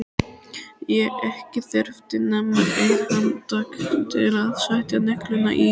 Ekki þurfti nema eitt handtak til að setja negluna í.